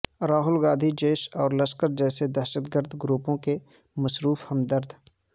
راہول گاندھی جیش اور لشکر جیسے دہشت گرد گروپوں کے مصروف ہمدرد